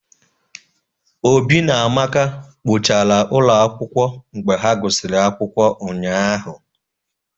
Obi na Amaka kpochara ụlọ akwụkwọ mgbe ha gụsịrị akwụkwọ ụnyahụ